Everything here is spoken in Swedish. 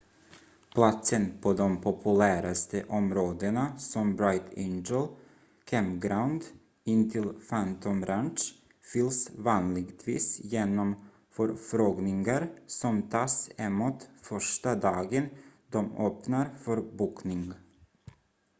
platsen på de populäraste områdena som bright angel campground intill phantom ranch fylls vanligtvis genom förfrågningar som tas emot första dagen de öppnar för bokning